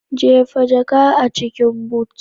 Jefa jaka a cikin but!